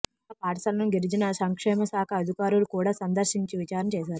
కాగా పాఠశాలను గిరిజన సంక్షేమశాఖ అధికారులు కూడా సందర్శించి విచారణ చేశారు